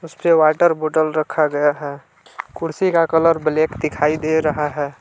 इसपे water bottle रखा गया है कुर्सी का कलर ब्लैक दिखाई दे रहा है।